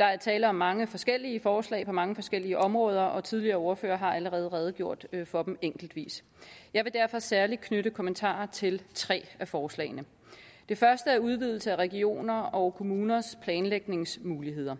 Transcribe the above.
er tale om mange forskellige forslag på mange forskellige områder og tidligere ordførere har allerede redegjort for dem enkeltvist jeg vil derfor særlig knytte kommentarer til tre af forslagene det første er udvidelse af regioners og kommuners planlægningsmuligheder